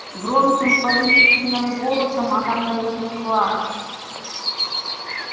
громким повелительным голосом она произнесла